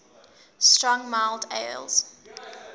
strong mild ales